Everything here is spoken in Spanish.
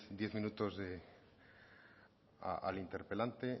diez minutos al interpelante